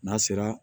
N'a sera